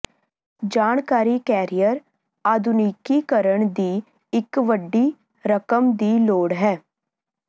ਜਾਣਕਾਰੀ ਕੈਰੀਅਰ ਆਧੁਨਿਕੀਕਰਨ ਦੀ ਇੱਕ ਵੱਡੀ ਰਕਮ ਦੀ ਲੋੜ ਹੈ